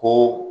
Ko